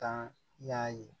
Kan ya ye